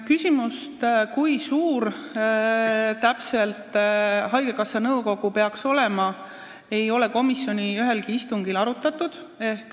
Küsimust, kui suur täpselt haigekassa nõukogu peaks olema, ei ole komisjoni ühelgi istungil arutatud.